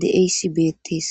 de'izayis betes